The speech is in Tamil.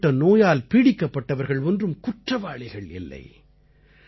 இப்படிப்பட்ட நோயால் பீடிக்கப்பட்டவர்கள் ஒன்றும் குற்றவாளிகள் இல்லை